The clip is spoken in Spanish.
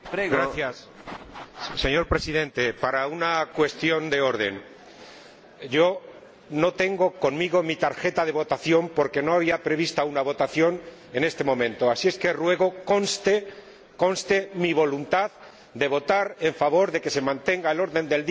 Señor Presidente, quisiera plantear una cuestión de orden no tengo conmigo mi tarjeta de votación porque no estaba prevista una votación en este momento, así que ruego conste mi voluntad de votar a favor de que se mantenga el orden del día tal y como está establecido.